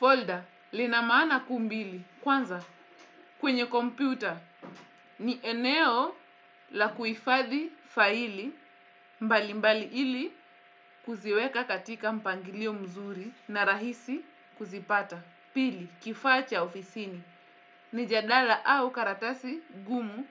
Folder lina maana kuu mbili. Kwanza kwenye kompyuta ni eneo la kuhifadhi faili mbali mbali ili kuziweka katika mpangilio mzuri na rahisi kuzipata. Pili kifaa cha ofisini, ni jadala au karatasi gumu